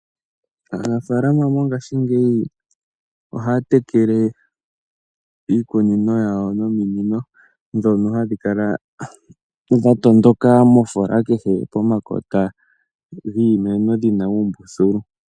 Aanafaalama mongashingeyi ohaya tekele iikunino yawo nominino ndhono hadhi kala dha tondoka mofoola kehe pomakota giimeno dhina uumbululu.